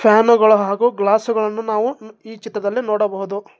Can ಗಳು ಹಾಗೂ glass ಗಳನ್ನು ನಾವು ಈ ಚಿತ್ರದಲ್ಲಿ ನೋಡಬಹುದು.